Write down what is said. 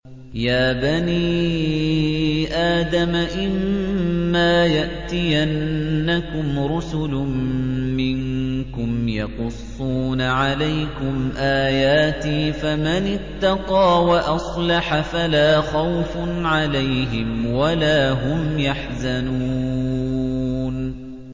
يَا بَنِي آدَمَ إِمَّا يَأْتِيَنَّكُمْ رُسُلٌ مِّنكُمْ يَقُصُّونَ عَلَيْكُمْ آيَاتِي ۙ فَمَنِ اتَّقَىٰ وَأَصْلَحَ فَلَا خَوْفٌ عَلَيْهِمْ وَلَا هُمْ يَحْزَنُونَ